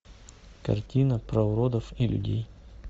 картина про уродов и людей